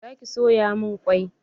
Za ki soya min kwai?